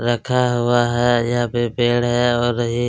रखा हुआ है यहाँ पे पेड़ है और भी--